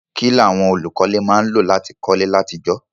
Kílàwon olùkọ́lé má n lò láti kólé látijọ́